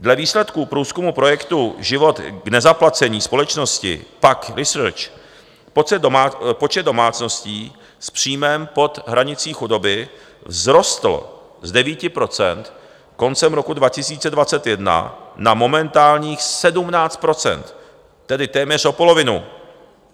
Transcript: Dle výsledků průzkumu projektu Život k nezaplacení společnosti PAQ Research počet domácností s příjmem pod hranicí chudoby vzrostl z 9 % koncem roku 2021 na momentálních 17 %, tedy téměř o polovinu.